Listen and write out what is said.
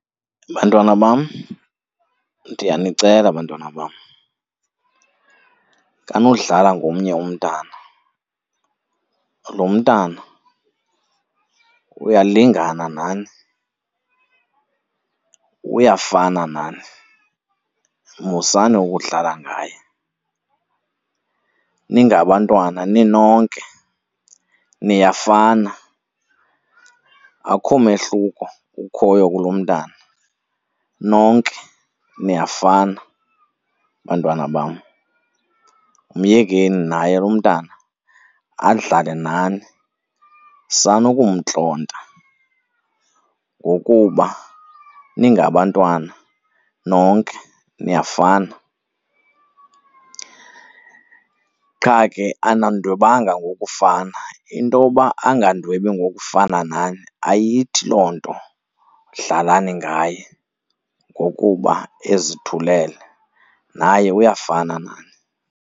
Bantwana bam, ndiyanicela bantwana bam, sanudlala ngomnye umntana. Lo mntana uyalingana nani, uyafana nani, musani ukudlala ngaye. Ningabantwana ninonke niyafana. Akukho mehluko ukhoyo kulo umntana, nonke niyafana, bantwana bam. Myekeni naye lo umntana adlale nani, sanukumntlonta. Ngokuba ningabantwana nonke niyafana qha ke anandwebanga ngokufana, intoba angandwebi ngokufana nani ayithi loo nto dlalani ngaye ngokuba ezithulele, naye uyafana nani.